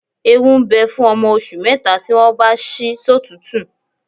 Ewu ń bẹ fún ọmọ oṣù mẹ́ta tí wọ́n bá ṣí sọ́tùútù